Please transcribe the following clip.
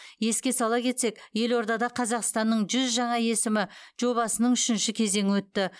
еске сала кетсек елордада қазақстанның жүз жаңа есімі жобасының үшінші кезеңі өтті